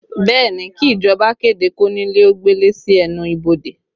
Bẹẹ ni, kí ìjọba kéde kónílé ó gbélé sí ẹnu ibodè